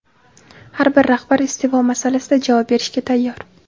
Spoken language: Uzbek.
har bir rahbar iste’fo masalasida javob berishga tayyor.